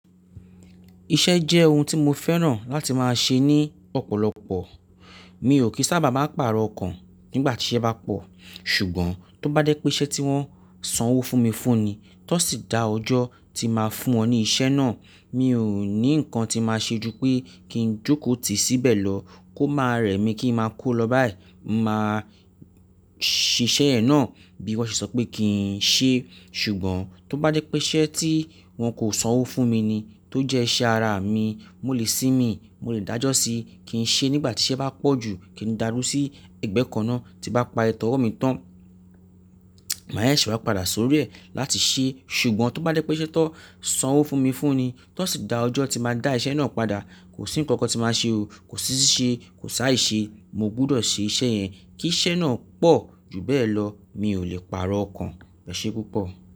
Iṣẹ́ jẹ́ ohun tí mo fẹ́ràn láti máa ṣe ní ọ̀pọ̀lọpọ̀. Mi ò kí sábà máa pàrọ̀ ọ̀kan nígbàtí iṣẹ́ bá pọ̀. Ṣùgbọ́n tó bá jé pé isẹ́ tí wọ́n sanwó fún mi fún ni, ti won sì da ọjọ́ tí máa fún wọn ní ìṣe náà, mi ò ní ǹkan tí máa ṣe ju pé kí n jókòó tìí síbẹ̀ lọ, kó máa rẹ̀ mí kí n máa ku lọ báyìí. Mo máa ṣe iṣẹ́ ẹ̀ náà bí wọ́n ṣe sọ pé kí n ṣe. Ṣùgbọ́n tó bá jé pé iṣe tí wọ́n kò sanwó fún mi ni, tó jẹ́ iṣẹ́ ara mi, mo lè sì mí, mo lè dájọ́ síí, kí n ṣe nígbàtí iṣẹ́ bá pọ̀ jù, kí n da duro sí ẹgbẹ́ kan náà tí bá pari tọ ọwọ́ mi tán. Màá sẹsẹ̀ wá padà sórí ẹ̀ láti ṣe. Ṣùgbọ́n tó bá je pé ṣe tó sanwó fún mi fún ni, ti won sì da ọjọ́ tí máa dá iṣẹ́ náà padà, kò sí ǹkankan tí máa ṣe o. Kò sí ṣíṣe, kò si aìṣe. Mo gbọ́dọ̀ ṣe iṣẹ́ yẹn. Kí iṣẹ́ náà pọ̀ jù bẹ́ẹ̀ lọ, mi ò lè pàrọ̀ ọ̀kan. Ese pupo.